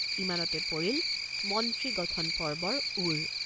ইমানতে পৰিল মন্ত্ৰী গঠন পৰ্বৰ ওৰ।